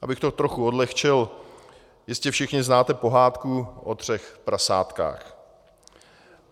Abych to trochu odlehčil, jistě všichni znáte pohádku o třech prasátkách.